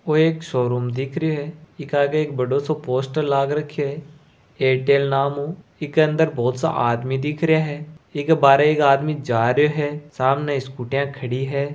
ओ एक शोरूम दिख रियो है ईका आगे एक बड़ों सो पोस्टर लाग रखयो है एयरटेल नाम उ एके अंदर बहुत सो आदमी दिख रियो है एको बाहर एक आदमी जा रियो है सामने स्कूटीयां खड़ी है।